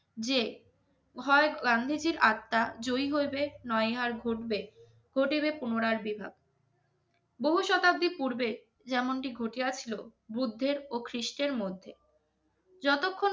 যে হয় গান্ধীজীর আত্মা জয়ী হইবে নইহার ঘটবে ঘটবে পুনরার বিভাগ বহু শতাব্দী পূর্বে যেমন টি ঘটিয়া ছিল বুদ্ধের ও খ্রীষ্টের মধ্যে যত খন